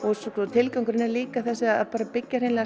tilgangurinn er líka að byggja hreinlega